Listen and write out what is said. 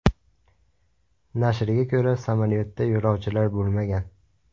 Nashrga ko‘ra, samolyotda yo‘lovchilar bo‘lmagan.